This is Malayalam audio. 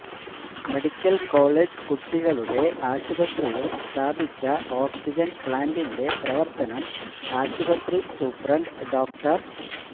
മെഡിക്കല് കോളജ്കുട്ടികളുടെ ആശുപത്രിയില് സ്ഥാപിച്ച ഓക്സിജന് പ്ലാന്റിന്റെ പ്രവര്ത്തനം ആശുപത്രി സൂപ്രണ്ട് ഡോ